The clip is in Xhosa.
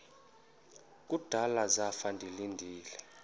kudala zafa ndilinde